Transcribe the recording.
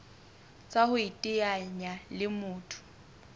tsa ho iteanya le motho